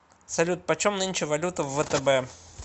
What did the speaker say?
салют почем нынче валюта в втб